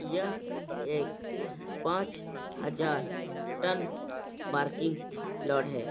यह एक पाँच हजार टन पार्किंग लोड है।